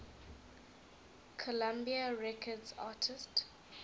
columbia records artists